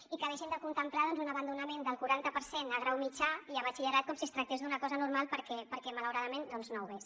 i que deixin de contemplar doncs un abandonament del quaranta per cent a grau mitjà i a batxillerat com si es tractés d’una cosa normal perquè malauradament no ho és